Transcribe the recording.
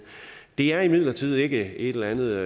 det er imidlertid ikke et eller andet